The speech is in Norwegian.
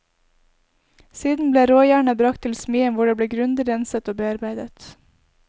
Siden ble råjernet brakt til smien hvor det ble grundig renset og bearbeidet.